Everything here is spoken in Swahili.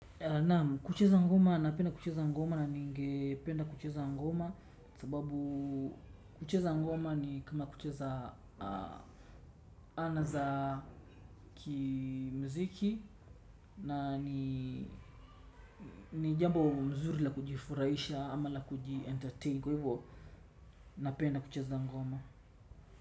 Naam, kucheza ngoma, napenda kucheza ngoma na ninge penda kucheza ngoma sababuu kucheza ngoma ni kama kucheza anaza ki muziki na ni jambo mzuri la kujifurahisha ama la kuji entertain kwa hivo napenda kucheza ngoma.